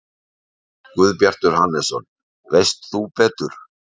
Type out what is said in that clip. Guðbjartur Hannesson: Veist þú betur?